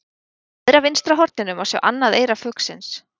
í neðra vinstra horninu má sjá annað eyra fuglsins